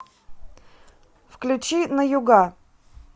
включи на юга